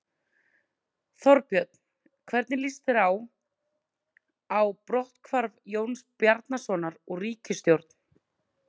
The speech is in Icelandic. Þorbjörn: Hvernig líst þér á, á brotthvarf Jóns Bjarnasonar úr ríkisstjórn?